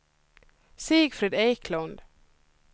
Sigfrid Eklund